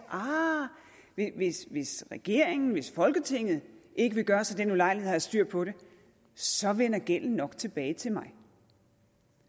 ah hvis hvis regeringen hvis folketinget ikke vil gøre sig den ulejlighed at have styr på det så vender gælden nok tilbage til mig